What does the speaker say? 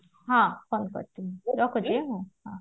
ହଁ call କରୁଥିବି ରଖୁଛି ହଁ ହଁ